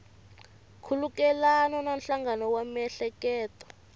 khulukelana na nhlangano wa miehleketo